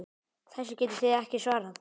Þessu getið þið ekki svarað!